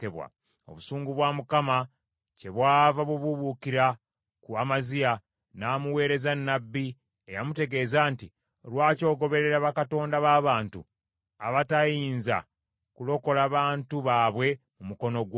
Obusungu bwa Mukama kyebwava bubuubuukira ku Amaziya, n’amuweereza nnabbi, eyamutegeeza nti, “Lwaki ogoberera bakatonda b’abantu, abataayinza kulokola bantu baabwe mu mukono gwo?”